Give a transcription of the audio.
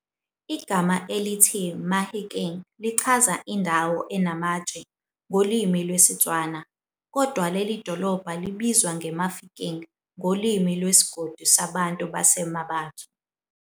Igama elithi "Mahikeng" lichaza "Indawo enamatshe" ngolwimi lwesiTswana, kodwa lelidolobha libizwa nge "Mafikeng" ngolwimi lwesigodi sabantu base Mmabatho.